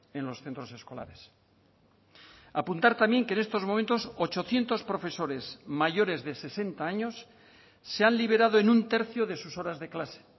en los centros escolares apuntar también que en estos momentos ochocientos profesores mayores de sesenta años se han liberado en un tercio de sus horas de clase